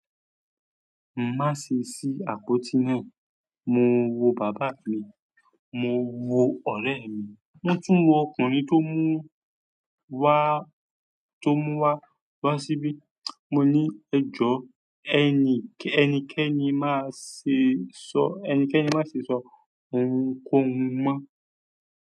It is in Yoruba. Má ṣe ṣí àpótí náà. Mo wo bàbá mi, mo wo ọ̀rẹ́ mi, wón tún wo ọkùnrin tó múu wa, tó mú wa wá síbí. Mo ní ẹjọ́ ẹni, ẹnikẹ́ni má ṣe sọ, ẹnikẹ́ni má ṣe sọ ohunkóhun mọ́.